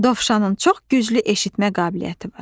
Dovşanın çox güclü eşitmə qabiliyyəti var.